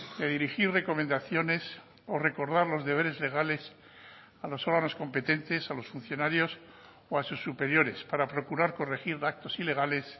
de dirigir recomendaciones o recordar los deberes legales a los órganos competentes a los funcionarios o a sus superiores para procurar corregir datos ilegales